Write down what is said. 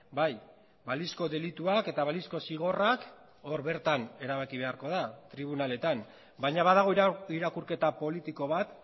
bai balizko delituak eta balizko zigorrak hor bertan erabaki beharko da tribunaletan baina badago irakurketa politiko bat